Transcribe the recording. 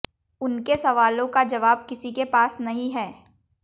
उनके सवालों का जवाब किसी के पास नहीं है